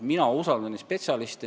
Mina usaldan spetsialiste.